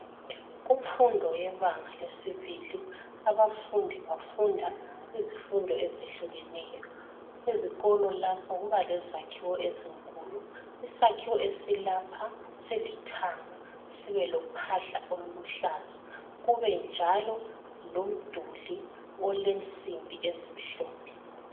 Kumfundo yebanga lesibili, abafundi bafunda izifundo ezehlukeneyo. Ezikolo lapha kuba lezakhiwo ezinkulu. Isakhiwo esilapha silithanga, sibe lophahla oluluhlaza, kube njalo lomduli olensimbi ezimhlophe.